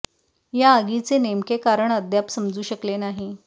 या आगीचे नेमके कारण अद्याप समजू शकले नाही